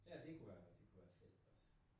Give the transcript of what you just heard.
Ja det kunne være det kunne være fedt også